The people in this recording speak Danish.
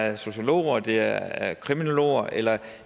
er sociologer det er er kriminologer eller